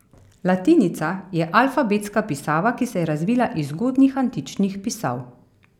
Latinica je alfabetska pisava, ki se je razvila iz zgodnjih antičnih pisav.